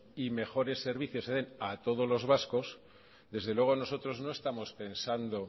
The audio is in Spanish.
y mejores servicios se den a todos los vascos desde luego nosotros no estamos pensando